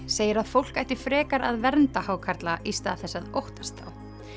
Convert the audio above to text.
segir að fólk ætti frekar að vernda hákarla í stað þess að óttast þá